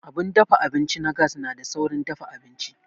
Abun dafa abinci na gas na da saurin dafa abinci.